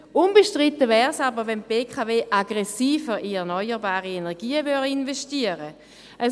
Unbestritten wäre es aber, wenn die BKW aggressiver in erneuerbare Energien investieren würde.